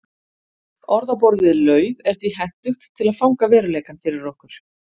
Orð á borð við lauf er því hentugt til að fanga veruleikann fyrir okkur.